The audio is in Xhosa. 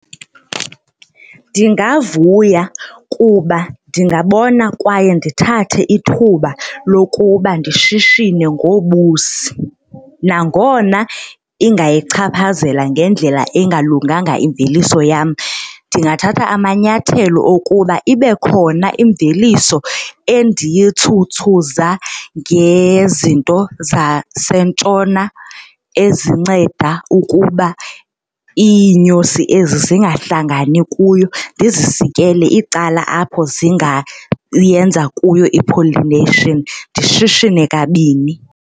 Ndingavuya kuba ndingabona kwaye ndithathe ithuba lokuba ndishishine ngobusi nangona ingayichaphazela ngendlela engalunganga imveliso yam. Ndingathatha amanyathelo okuba ibe khona imveliso endiyitzhutzhuza ngezinto zaseNtshona ezinceda ukuba iinyosi ezi zingahlangani kuyo ndizisikele icala apho zingayenza kuyo i-pollination ndishishine kabini.